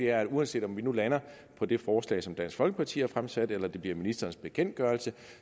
er at uanset om vi nu lander på det forslag som dansk folkeparti har fremsat eller det bliver ministerens bekendtgørelse